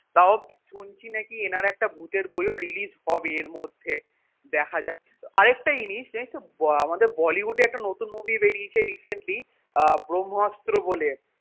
তাও শুনছি নাকি এনার একটা ভুতের বইও release হবে এর মধ্যে দেখা যাক আরেকটা জিনিস জানিস্ তো হম আমাদের bollywood এ একটা নতুন movie বেরিয়েছে recently আহ ব্রম্ভাস্ত্র বলে